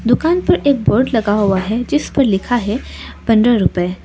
दुकान पर एक बोर्ड लगा हुआ है जिस पर लिखा है पंद्रह रूपए।